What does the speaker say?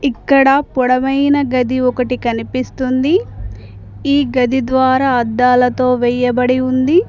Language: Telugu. ఇక్కడ పొడవైన గది ఒకటి కనిపిస్తుంది ఈ గది ద్వారా అద్దాలతో వేయబడి ఉంది.